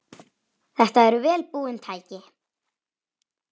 Þetta eru vel búin tæki.